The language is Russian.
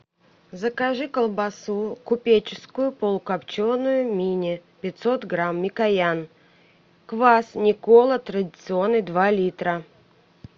закажи колбасу купеческую полукопченую мини пятьсот грамм микоян квас никола традиционный два литра